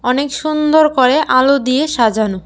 অনেক সুন্দর করে আলো দিয়ে সাজানো।